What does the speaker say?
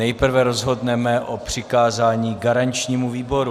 Nejprve rozhodneme o přikázání garančnímu výboru.